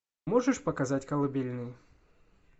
можешь показать колыбельную